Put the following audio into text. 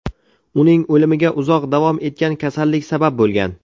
Uning o‘limiga uzoq davom etgan kasallik sabab bo‘lgan.